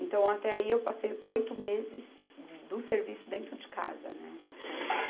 Então, até aí eu passei oito meses do serviço dentro de casa, né? Encostada.